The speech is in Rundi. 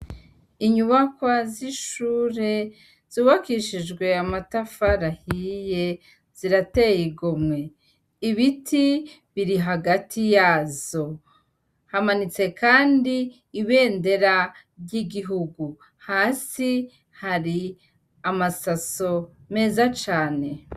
Inyuma z'ishure zubakishijwe amatafari ahiye zirateye igomwe, ibiti biri hagati yazo hamanitse kandi ibendera ry'igihugu hasi hari amasaso meza cane.